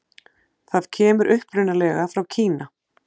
Það kemur upprunalega frá Kína.